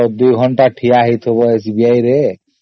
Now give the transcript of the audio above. ଆଉ ଦୁଇ ଘଣ୍ଟା ଠିଆ ହୋଇ ରୁହ SBI